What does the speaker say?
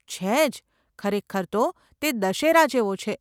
છે જ, ખરેખર તો તે દશેરા જેવો છે.